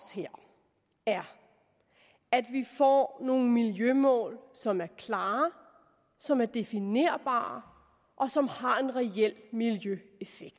er at vi får nogle miljømål som er klare som er definerbare og som har en reel miljøeffekt